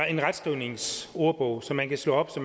en retskrivningsordbog som man kan slå op